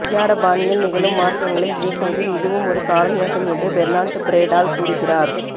ஒய்யார பாணியில் நிகழும் மாற்றங்களை இயக்குவதில் இதுவும் ஒரு காரணியாகும் என்று பெர்னான்ட் பிரேடால் கூறுகிறார்